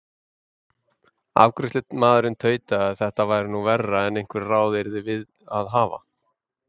Afgreiðslumaðurinn tautaði að þetta væri nú verra en einhver ráð yrðum við að hafa.